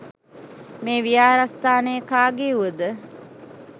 මේ විහාරස්ථානය කාගේ් වුවද